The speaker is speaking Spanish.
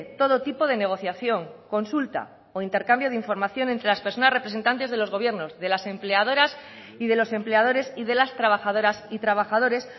todo tipo de negociación consulta o intercambio de información entre las personas representantes de los gobiernos de las empleadoras y de los empleadores y de las trabajadoras y trabajadores